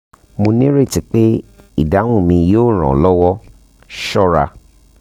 mo nireti pe idahun mi yoo ran ọ lọwọ ṣọra